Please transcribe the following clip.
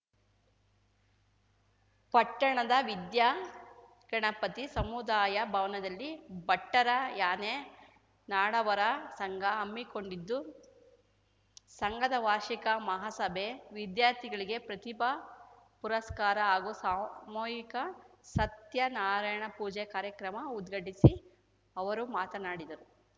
ಪಟ್ಟಣದ ವಿದ್ಯಾಗಣಪತಿ ಸಮುದಾಯ ಭವನದಲ್ಲಿ ಬಟ್ಟರ ಯಾನೆ ನಾಡವರ ಸಂಘ ಹಮ್ಮಿಕೊಂಡಿದ್ದು ಸಂಘದ ವಾರ್ಷಿಕ ಮಹಾಸಭೆ ವಿದ್ಯಾರ್ಥಿಗಳಿಗೆ ಪ್ರತಿಭಾ ಪುರಸ್ಕಾರ ಹಾಗೂ ಸಾಮೂಹಿಕ ಸತ್ಯನಾರಾಯಣ ಪೂಜಾ ಕಾರ್ಯಕ್ರಮ ಉದ್ಘಾಟಿಸಿ ಅವರು ಮಾತನಾಡಿದರು